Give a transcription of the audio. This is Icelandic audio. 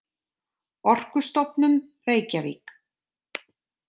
Orkustofnun, Reykjavík.